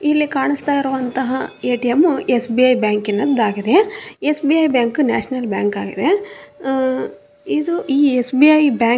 ಇಲ್ಲಿ ಕಾಣಿಸ್ತಾ ಇರೋವಂತಹ ಏ.ಟಿ.ಎಮ್ ಎಸ್.ಬಿ.ಐ ಬ್ಯಾಂಕ್ ನದ್ದಾಗಿದೆ ಎಸ್.ಬಿ.ಐ ಬ್ಯಾಂಕ್ ನ್ಯಾಷನಲ್ ಬ್ಯಾಂಕ್ ಆಗಿದೆ ಅ ಇದು ಈ ಎಸ್. SBI bank --